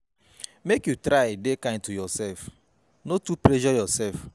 Make you try dey kind to yoursef, no too pressure yoursef.